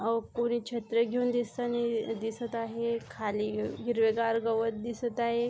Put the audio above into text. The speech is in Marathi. अ पोरी छत्र्या घेऊन दिसतानी दिसत आहे खाली हिरवे गार गवत दिसत आहे.